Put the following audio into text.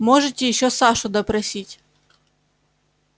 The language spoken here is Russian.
можете ещё сашу допросить